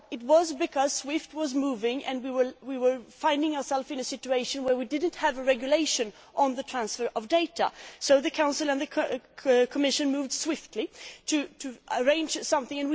Well, it was because SWIFT was moving and we were finding ourselves in a situation where we did not have a regulation on the transfer of data, so the Council and the Commission moved swiftly to arrange something.